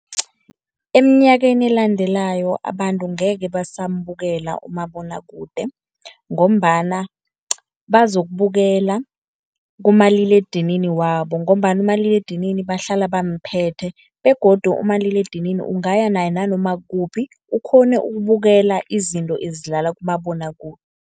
Eminyakeni elandelako abantu ngeke basambukela umabonwakude, ngombana bazokubukela kumaliledinini wabo ngombana umaliledinini bahlala bamphethe begodu umaliledinini ungaya naye nanoma kukuphi ukghone ukubukela izinto ezidlala kumabonwakude.